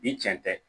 Ni cɛn tɛ